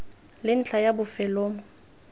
le ntlha ya bofelo mo